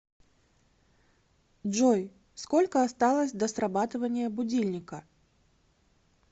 джой сколько осталось до срабатывания будильника